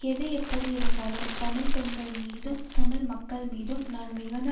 எது எப்படி இருந்தாலும் தமிழ்பெண்கள் மீதும் தமிழ் மக்கள் மீதும் நான் மிகுந்த